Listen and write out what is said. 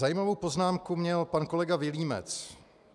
Zajímavou poznámku měl pan kolega Vilímec.